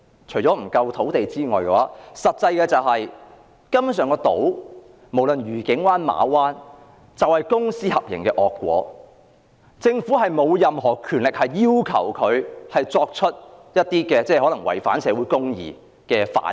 除了土地不足外，真正的原因是，無論愉景灣或馬灣根本就是公私合營的惡果，政府沒有任何權力要求集團就一些可能違反社會正義的行為作出反應。